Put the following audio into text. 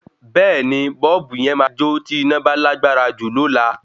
Bẹ́ẹ̀ni bọ́ọ̀bù yen ma jó tí iná bá lágbára jù lola